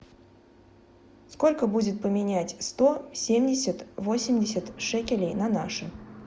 сколько будет поменять сто семьдесят восемьдесят шекелей на наши